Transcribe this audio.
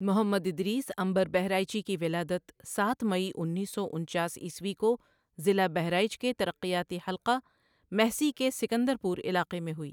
محمد ادریس عنبرؔ بہرائچی کی ولادت سات مئی انیس سو انچاس عیسوی کو ضلع بہرائچ کے ترقیاتی حلقہ مہسی کے سکندر پور علاقہ میں ہوئی۔